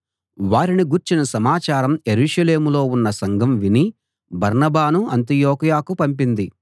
వారిని గూర్చిన సమాచారం యెరూషలేములో ఉన్న సంఘం విని బర్నబాను అంతియొకయకు పంపింది